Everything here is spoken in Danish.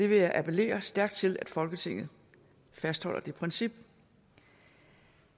vil appellere stærkt til at folketinget fastholder det princip